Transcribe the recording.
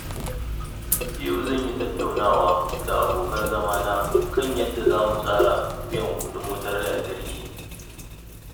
Yau zan yi tattaunawa da abokan zama na kan yadda za mu tsara biyan kuɗin wutar lantarki.